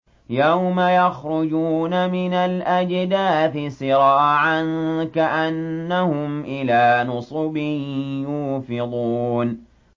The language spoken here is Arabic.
يَوْمَ يَخْرُجُونَ مِنَ الْأَجْدَاثِ سِرَاعًا كَأَنَّهُمْ إِلَىٰ نُصُبٍ يُوفِضُونَ